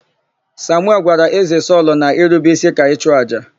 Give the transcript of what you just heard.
Samuel gwara Ézē Sọlụ na irube ísí ka ịchụàjà.